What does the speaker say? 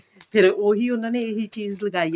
ਫੇਰ ਉਹਨਾਂ ਨੇ ਇਹੀ ਚੀਜ਼ ਲਗਾਈ